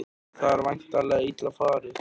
Það er væntanlega illa farið?